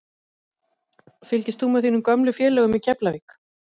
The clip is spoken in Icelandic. Fylgist þú með þínum gömlu félögum í Keflavík?